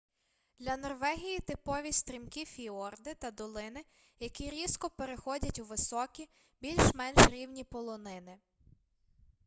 для норвегії типові стрімкі фіорди та долини які різко переходять у високі більш-менш рівні полонини